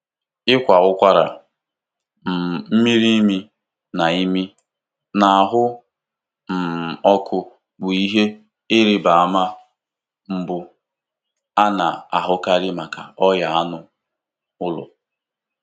Ịkwara ụkwara, um mmiri imi, na imi, na ahụ um ọkụ bụ ihe ịrịba ama mbụ a na-ahụkarị maka ọrịa anụ ụlọ.